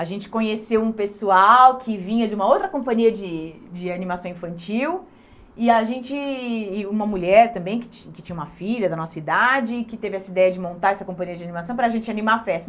A gente conheceu um pessoal que vinha de uma outra companhia de de animação infantil e a gente, e uma mulher também, que ti que tinha uma filha da nossa idade, que teve essa ideia de montar essa companhia de animação para a gente animar a festa.